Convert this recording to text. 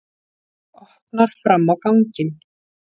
Opnar fram á ganginn.